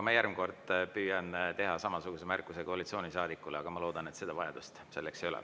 Ma järgmine kord püüan teha samasuguse märkuse koalitsioonisaadikule, aga ma loodan, et seda vajadust ei teki.